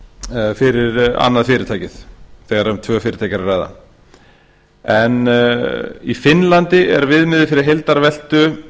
er fyrir annað fyrirtækið þegar um tvö fyrirtæki er að ræða í finnlandi er viðmiðun fyrir heildarveltu